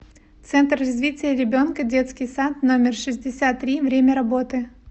центр развития ребенка детский сад номер шестьдесят три время работы